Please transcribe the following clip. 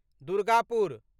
Durgapur